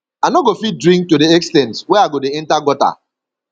i no go fit drink to the ex ten t wey i go dey enter gutter